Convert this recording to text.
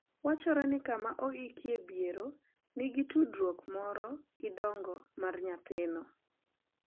Wachore ni kama oikie bierono nigi tudruok moro gi dongo mar nyathino.